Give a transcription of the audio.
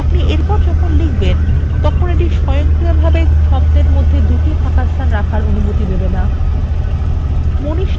আপনি এরপর যখন লিখবেন তখন the স্বয়ংক্রিয়ভাবে দুটি শব্দের মধ্যে জোড়া ফাঁকাস্থান রাখার অনুমতি দেবে the